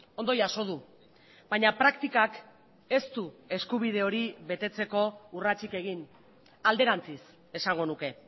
ondo jaso du baina praktikak ez du eskubide hori betetzeko urratsik egin alderantziz esango nuke